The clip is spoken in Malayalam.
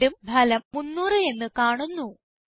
വീണ്ടും ഫലം 300 എന്ന് കാണുന്നു